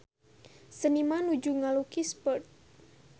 Seniman nuju ngalukis Perth